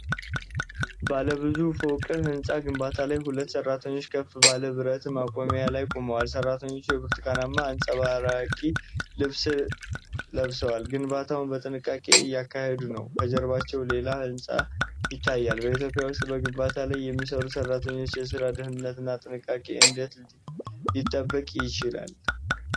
ባለ ብዙ ፎቅ ሕንፃ ግንባታ ላይ ሁለት ሠራተኞች ከፍ ባለ ብረት ማቆሚያ ላይ ቆመዋል። ሠራተኞቹ የብርቱካናማ አንጸባራቂ ልብስ ለብሰው፣ ግንባታውን በጥንቃቄ እያካሄዱ ነው። ከጀርባቸው ሌላ ህንፃም ይታያል። በኢትዮጵያ ውስጥ በግንባታ ላይ የሚሰሩ ሠራተኞች የሥራ ደህንነትና ጥንቃቄ እንዴት ሊጠበቅ ይችላል?